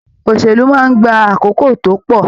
Òṣèlú máa n gbà àkókò tó pọ.